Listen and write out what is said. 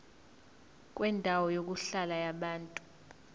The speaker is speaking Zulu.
kwendawo yokuhlala yabantu